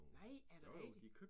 Nej! Er det rigtigt?